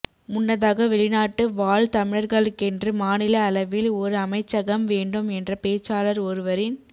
முன்னதாக வெளிநாட்டு வாழ் தமிழர்களுக்கென்று மாநில அளவில் ஒரு அமைச்சகம் வேண்டும் என்ற பேச்சாளர் ஒருவரின்